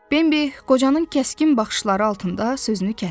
Bimbi qocanın kəskin baxışları altında sözünü kəsdi.